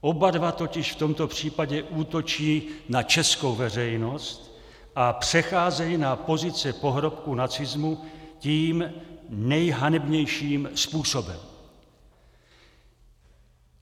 Oba dva totiž v tomto případě útočí na českou veřejnost a přecházejí na pozice pohrobků nacismu tím nejhanebnějším způsobem.